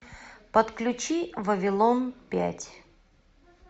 подключи вавилон пять